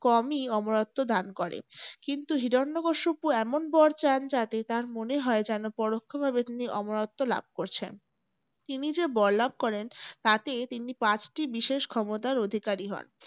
কমই অমরত্ব দান করে। কিন্তু হিরণ্যকশিপু এমন বর চান যাতে তার মনে হয় যেন পরোক্ষভাবে তিনি অমরত্ব লাভ করছেন। তিনি যে বর লাভ করেন তাতে তিনি পাঁচটি বিশেষ ক্ষমতার অধিকারী হন।